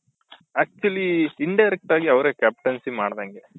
actually indirect ಆಗಿ ಅವ್ರೆ captaincy ಮಾಡ್ದಂಗೆ